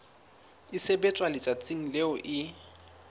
e sebetswa letsatsing leo e